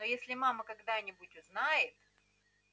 но если мама когда-нибудь узнает